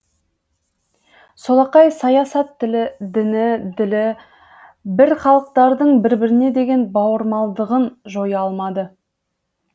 солақай саясат тілі діні ділі бір халықтардың бір біріне деген бауырмалдығын жоя алмады